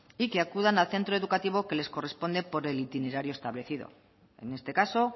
y que acudan al centro educativo que les corresponde por el itinerario establecido en este caso